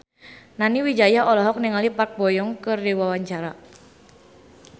Nani Wijaya olohok ningali Park Bo Yung keur diwawancara